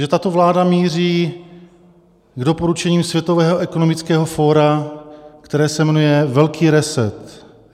Že tato vláda míří k doporučení Světového ekonomického fóra, které se jmenuje Velký reset.